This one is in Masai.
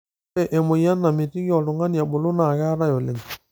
ore emoyian namitiki oltungani ebulu naa keetae oleng